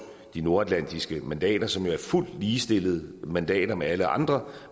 de nordatlantiske mandater som er fuldt ligestillede mandater med alle andre